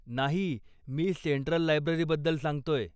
नाही, मी सेन्ट्रल लायब्ररीबद्दल सांगतोय.